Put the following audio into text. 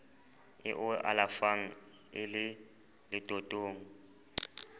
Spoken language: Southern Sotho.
e o alafang e letotong